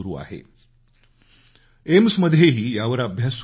AIMS मध्येही यावर अभ्यास सुरु आहे